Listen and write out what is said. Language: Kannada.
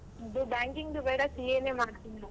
ಅದೇ Banking ದು ಬೇಡ CA ಮಾಡ್ತೀನಿ.